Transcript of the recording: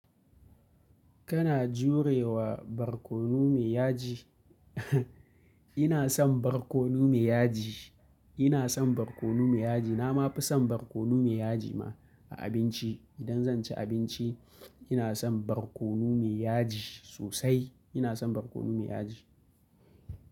Kana jurewa barkono mai yaji? Ina son barkono mai yaji, ina son barkono mai yaji. Na ma fi son barkono mai yaji ma a abinci. Idan zan ci abinci, ina son barkono mai yaji sosai. Ina son barkono mai yaji.